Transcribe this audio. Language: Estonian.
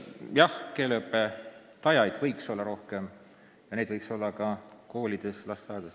Jah, keeleõpetajaid võiks olla rohkem ja neid võiks rohkem olla ka koolides ja lasteaedades.